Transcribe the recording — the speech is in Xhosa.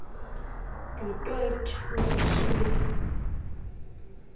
du toit osishiye